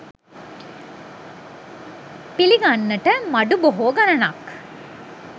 පිළිගන්නට මඩු බොහෝ ගණනක්